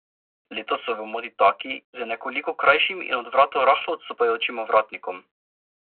Letos so v modi taki z nekoliko krajšim in od vratu rahlo odstopajočim ovratnikom.